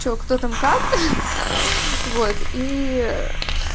что кто там как вот ии